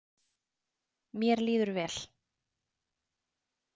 Mér líður vel.